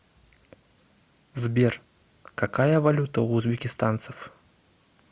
сбер какая валюта у узбекистанцев